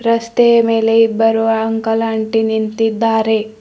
ರಸ್ತೆಯ ಮೇಲೆ ಇಬ್ಬರು ಅಂಕಲ್ ಅಂಟಿ ನಿಂತಿದ್ದಾರೆ.